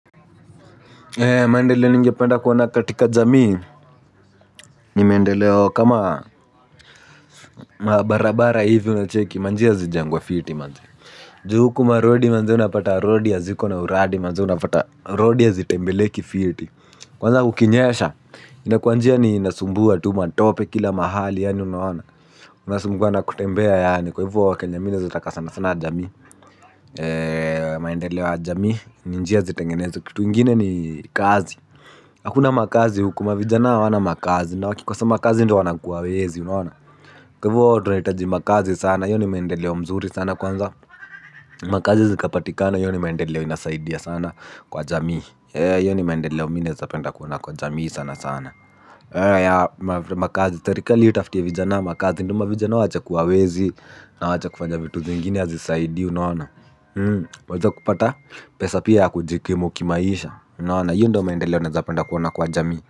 Maendeleo ningependa kuona katika jamii ni mendeleo kama barabara hivi unacheki manjia zi jengwe fiti manze. Ju huku marodi manze unapata rodi haziko na uradi manze unapata rodi hazi tembeleki fiti. Ni mendeleo kama barabara hivi unacheki manjia zi jengwe fiti manze. Ju huku marodi manjia unapata rodi haziko na uradi manze unapata rodi hazi tembeleki fiti. Mendeleo ya jamii ni njia zitengenezwe kitu ingine ni kazi. Hakuna makazi huku mavijana hawana makazi na wakikosa makazi ndio wana kuwa wezi unaona. Kwahivo tunahutaji makazi sana hio ni maendeleo mzuri sana kwanza makazi zikapatikana hio ni maendeleo inasaidia sana kwa jamii hio ni maemdeleo mimi naeza penda kuona kwa jamii sana sana makazi serikali itafutie vijanaa makazi ndio vijanaa waache kuwa wezi. Na wache kufanya vitu zingine hazisaidi unaona. Wajua kupata pesa pia ya kujikimu kimaisha unaona hiyo ndo mendeleo naezapenda kuona kwa jamii.